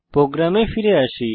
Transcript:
প্রোগ্রামে ফিরে আসি